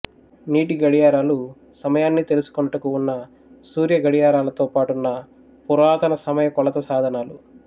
నీటి గడియారాలు సమయాన్ని తెలుసుకొనుటకు ఉన్న సూర్యగడియారాలతో పాటున్న పురాతన సమయ కొలత సాధనాలు